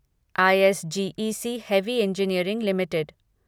I S G E C heavy engineering limited